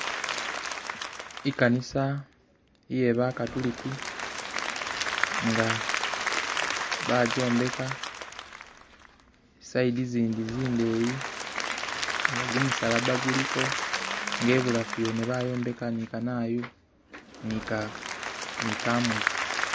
I'kanisa iye bakatuliki nga bachombeka side zindi zindeyi nga kumusalabaguliko nga e'bulafu wene bayombeka nika ni kanayu ni kamuli